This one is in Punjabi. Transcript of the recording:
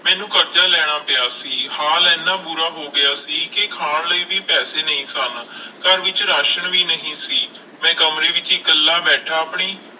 ਮੈਨੂੰ ਕਰਜ਼ਾ ਲੈਣਾ ਪਿਆ ਸੀ ਹਾਲ ਇੰਨਾ ਬੁਰਾ ਹੋ ਗਿਆ ਸੀ ਕਿ ਖਾਣ ਲਈ ਵੀ ਪੈਸੇ ਨਹੀਂ ਸਨ ਘਰ ਵਿੱਚ ਰਾਸ਼ਣ ਵੀ ਨਹੀਂ ਸੀ, ਮੈਂ ਕਮਰੇ ਵਿੱਚ ਇਕੱਲਾ ਬੈਠਾ ਆਪਣੀ,